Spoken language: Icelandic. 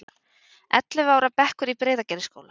Ellefu ára bekkur í Breiðagerðisskóla.